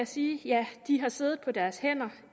sige ja de har siddet på deres hænder